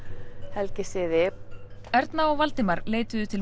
helgisiði Erna og Valdimar leituðu til